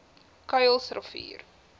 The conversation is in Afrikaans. kuilsrivier